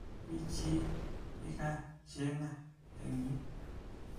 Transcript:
Mi chi nikacheng'a eng yu?